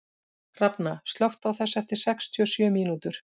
Hrafna, slökktu á þessu eftir sextíu og sjö mínútur.